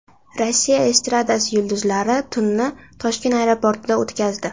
Rossiya estradasi yulduzlari tunni Toshkent aeroportida o‘tkazdi.